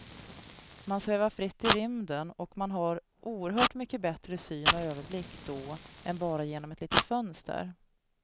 Man svävar fritt i rymden och man har oerhört mycket bättre syn och överblick då än bara genom ett litet fönster.